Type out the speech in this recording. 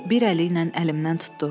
O bir əliylə əlimdən tutdu.